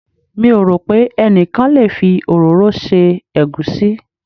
Mi ò rò pé ẹnikan lè fi òróró se egusi.